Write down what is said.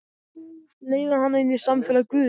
Leiða hana inn í samfélag guðs.